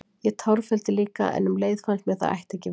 Ég tárfelldi líka, en um leið fannst mér það ætti ekki við.